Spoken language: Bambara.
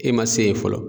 E ma se yen fɔlɔ